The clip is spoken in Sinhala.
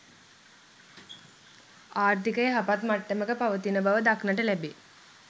ආර්ථිකය යහපත් මට්ටමක පවතින බව දක්නට ලැබේ.